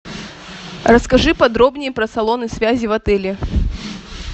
расскажи подробнее про салоны связи в отеле